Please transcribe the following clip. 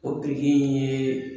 O biriki in ye